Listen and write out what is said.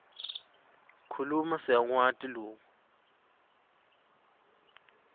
kukhuluma siyakwati loku